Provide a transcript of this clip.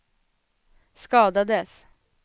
skadades